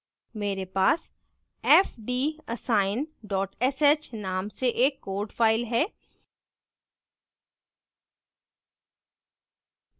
मेरे पास fdassign dot sh name से एक code file है